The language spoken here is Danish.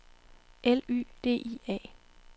L Y D I A